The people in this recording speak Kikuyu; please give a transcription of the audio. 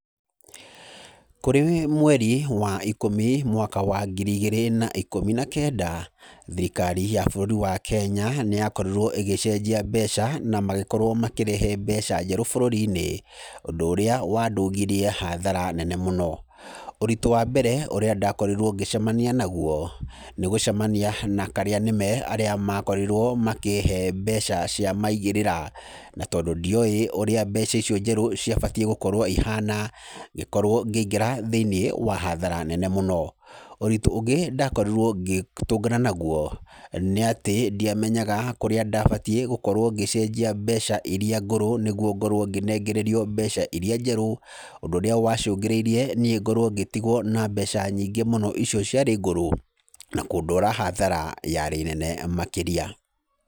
Kũrĩ mweri wa ikũmi mwaka wa ngiri ĩgĩrĩ na ikũmi na kenda, thirikari ya bũrũri wa Kenya, nĩ yakorirwo ĩgĩcenjia mbeca na magĩkorwo makĩrehe mbeca njerũ bũrũri-inĩ, ũndũ ũrĩa wandũngirie hathara nene mũno, ũritũ wa mbere ũrĩa ndakorirwo ngĩcemania naguo, nĩ gũcemania nakarĩa nĩme arĩa makorirwo makĩhe mbeca cia maigĩrĩra, na tondũ ndioĩ ũrĩa mbeca icio njerũ ciabatiĩ gũkorwo ihana, ngĩkorwo ngĩingĩra thĩinĩ wa hathara nene mũno, ũritũ ũngĩ ndakorirwo ngĩtũngana naguo, nĩ atĩ ndiamenyaga kũrĩa ndabatiĩ gũkorwo ngĩcenjia mbeca iria ngũrũ nĩguo ngorwo ngĩnengererio mbeca iria njerũ, ũndũ ũrĩa wacũngĩrĩirie niĩ ngoro ngĩtigwo na mbeca nyingĩ mũno ico ciarĩ ngũrũ, na kũndwara hathara yarĩ nene makĩria.